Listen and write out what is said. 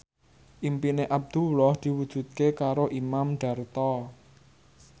impine Abdullah diwujudke karo Imam Darto